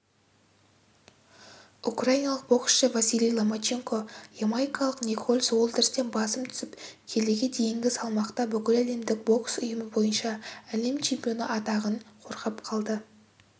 украиналық боксшы василий ломаченко ямайкалық николас уолтерстен басым түсіп келіге дейінгі салмақта бүкіләлемдік бокс ұйымы бойынша әлем чемпионы атағын қорғап қалды